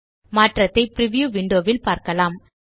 மாற்றத்தை preview window ல் பார்க்கலாம்